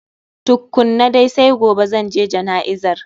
Tukkunan dai, sai gobe zanje jana'izar